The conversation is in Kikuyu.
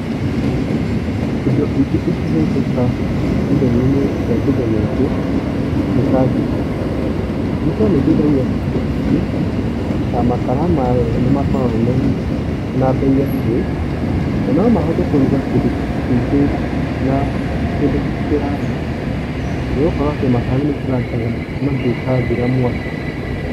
Indo ingĩ ingĩhũthika ithenya-ĩnĩ ria kĩndũ gĩkĩ nĩ ta jiko. Jiko ni ĩteithagia andũ aingĩ na makara mayo nĩ makoragwo mena bei ya thĩ, na no mahote kũrũga kindũ kĩingĩ na kĩndũ kĩraya nĩ gukorũo makara nĩ maikarangaga mangĩgathira mwakĩ.